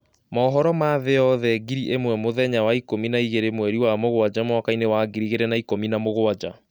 Mũhoro ma thĩ yothe ngiri ĩmwe mũthenya Wa ikũmi na ĩgĩrĩ mweri Wa mũgwanja mwakainĩ Wa ngiri igĩrĩ na ikũmi na mũgwanja.